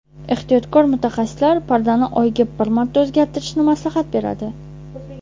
Ehtiyotkor mutaxassislar pardani oyiga bir marta o‘zgartirishni maslahat beradi.